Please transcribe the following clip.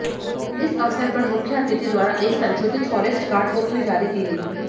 इस अवसर पर मुख्य अतिथि द्वारा एक संशोधित फॉरेस्ट गार्ड बुक भी जारी की गई